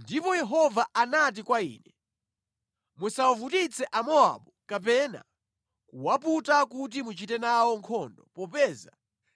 Ndipo Yehova anati kwa ine, “Musawavutitse Amowabu kapena kuwaputa kuti muchite nawo nkhondo popeza